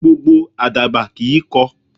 Gbogbo Àdàbà kìí kọ.